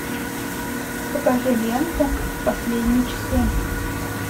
покажи ленту последние часы